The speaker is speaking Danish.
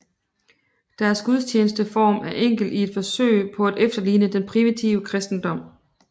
Deres gudstjenesteform er enkel i et forsøg på at efterligne den primitive kristendom